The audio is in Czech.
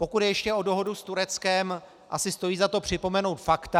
Pokud jde ještě o dohodu s Tureckem, asi stojí za to připomenout fakta.